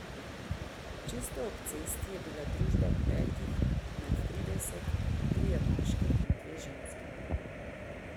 Čisto ob cesti je bila družba petih nad trideset, trije moški in dve ženski.